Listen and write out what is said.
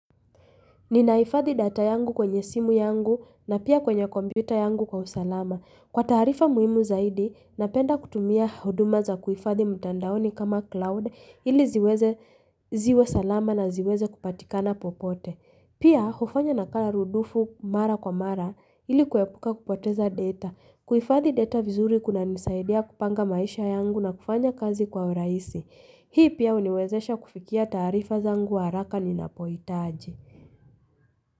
Ninahifadhi data yangu kwenye simu yangu na pia kwenye kompyuta yangu kwa usalama. Kwa taarifa muhimu zaidi, napenda kutumia huduma za kuifadhi mtandaoni kama cloud ili ziweze ziwe salama na ziweze kupatikana popote. Pia, hufanya nakala rudufu mara kwa mara ili kuepuka kupoteza data. Kuhifadhi data vizuri kunanisaidia kupanga maisha yangu na kufanya kazi kwa urahisi. Hii pia huniwezesha kufikia taarifa zangu wa haraka ninapohitaji.